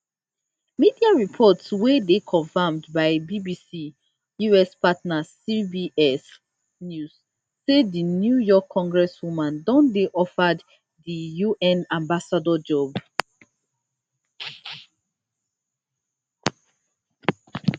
media reports wey dey confirmed by bbc us partner cbs news say di new york congresswoman don dey offered di un ambassador job